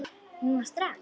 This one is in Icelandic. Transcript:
Núna strax?